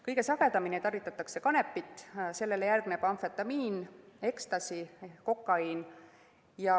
Kõige sagedamini tarvitatakse kanepit, sellele järgnevad amfetamiin, Ecstasy, kokaiin.